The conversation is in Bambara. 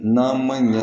N'a ma ɲɛ